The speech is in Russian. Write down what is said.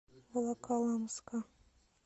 волоколамска